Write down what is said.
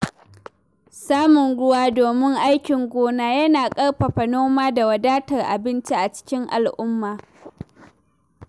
Samun ruwa domin aikin gona yana ƙarfafa noma da wadatar abinci a cikin al'umma.